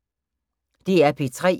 DR P3